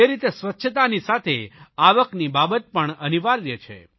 તે રીતે સ્વચ્છતાની સાથે આવકની બાબત પણ અનિવાર્ય છે